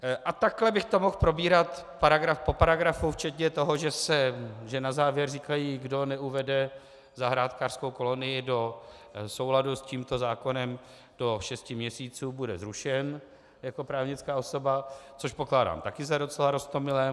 A takhle bych to mohl probírat paragraf po paragrafu včetně toho, že na závěr říkají, kdo neuvede zahrádkářskou kolonii do souladu s tímto zákonem do šesti měsíců, bude zrušen jako právnická osoba, což pokládám taky za docela roztomilé.